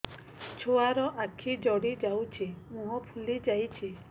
ଛୁଆର ଆଖି ଜଡ଼ି ଯାଉଛି ମୁହଁ ଫୁଲି ଯାଇଛି